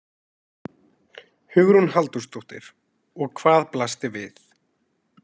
Hugrún Halldórsdóttir: Og hvað blasti við?